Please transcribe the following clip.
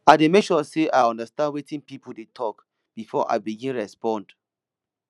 i dey make sure sey i understand wetin pipo dey tok before i begin respond